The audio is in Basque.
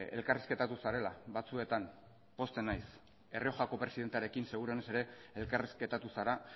elkarrizketatu zarela batzuetan pozten naiz errioxako presidentearekin seguruenez ere elkarrizketatu zara